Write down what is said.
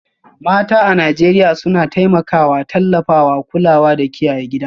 Mata a Najeriya suna taimakawa, tallafawa, kulawa da kiyaye gida